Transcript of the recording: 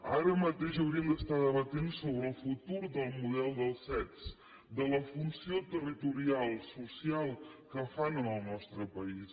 ara mateix hauríem d’estar debatent el futur del model dels cet de la funció territorial social que fan en el nostre país